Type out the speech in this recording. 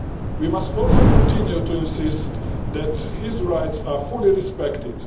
We must also continue to insist that his rights are fully respected.